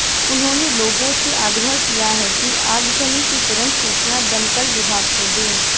उन्होंने लोगों से आग्रह किया है कि आगजनी की तुरंत सूचना दमकल विभाग को दें